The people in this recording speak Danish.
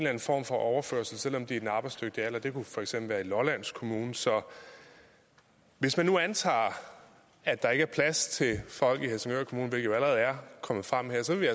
anden form for overførselsindkomst er i den arbejdsdygtige alder det kunne for eksempel være i lolland kommune så hvis man nu antager at der ikke er plads til folk i helsingør kommune hvilket jo allerede er kommet frem her så vil